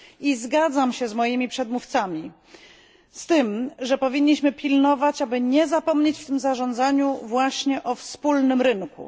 I zgadzam się z moimi przedmówcami z tym, że powinniśmy pilnować, aby nie zapomnieć w tym zarządzaniu właśnie o wspólnym rynku.